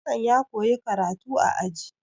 Hassan ya koyi karatu a aji.